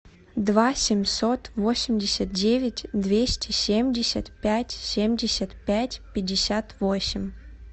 два семьсот восемьдесят девять двести семьдесят пять семьдесят пять пятьдесят восемь